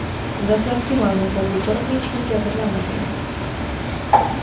Dastlabki ma’lumotlarga ko‘ra, hech kim jabrlanmagan.